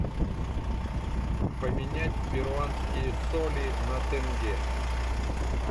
поменять перуанские соли на тенге